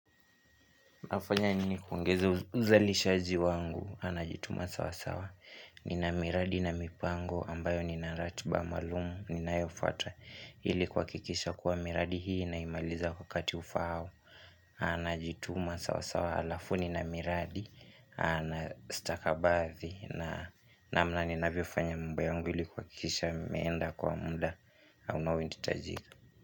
Nafanya nini kuongeza uzalishaji wangu, na najituma sawa sawa, nina miradi na mipango ambayo nina ratiba maalumu, nina yofuata ilikuhakikisha kuwa miradi hii na imaliza kwa wakati ufaao, na najituma sawa sawa alafu nina miradi, na stakabadhi namna ninavyofanya mambo yangu ili kuhakikisha nimeenda kwa muda, unaohitajika.